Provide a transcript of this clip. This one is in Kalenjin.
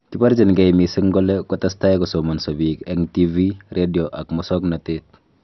Kiborjingei missing kole kotestai kosomonso biik eng TV,radio ak musoknotet